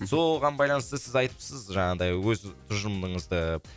соған байланысты сіз айтыпсыз жаңағыдай өз тұжымрыңызды